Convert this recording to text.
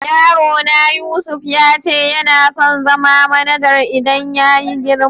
Yaro na Yusuf ya ce yana son zama manajar idan ya yi girma.